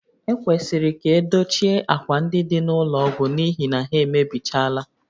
Ekwesịrị ka edochie ákwà ndị dị n'ụlọ ọgwụ n'ihi na ha emebichaala